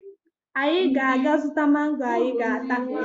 Anyị ga-aga zụta mango anyị ga-ata